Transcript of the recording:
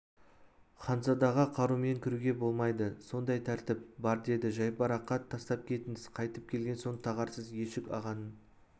ханзадаға қарумен кіруге болмайды сондай тәртіп бар деді жайбарақат тастап кетіңіз қайтып келген соң тағарсыз ешік-ағаның